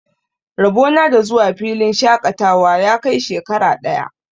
Rabo na da zuwa filin shaƙatawa ya kai shekara ɗaya.